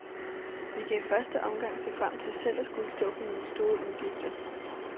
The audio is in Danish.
Vi kan i første omgang se frem til selv at skulle stå for nogle store udgifter.